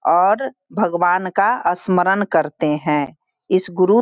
और भगवान का स्मरण करते हैं इस गुरु --